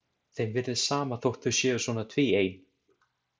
Þeim virðist sama þótt þau séu svona tvíein.